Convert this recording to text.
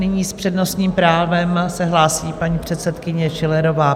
Nyní s přednostním právem se hlásí paní předsedkyně Schillerová.